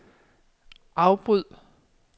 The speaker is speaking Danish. afbryd